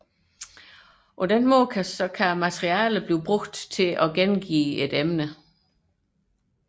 I den forbindelse kan materialet anvendes til repetition af et emne